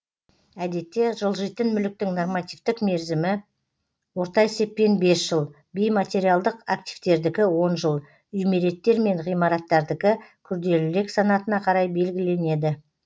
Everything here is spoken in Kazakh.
әдетте жылжитын мүліктің нормативтік мерзімі орта есеппен бес жыл бейматериалдық активтердікі он жыл үймереттер мен ғимараттардікі күрделілік санатына қарай белгіленеді